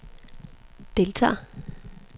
deltager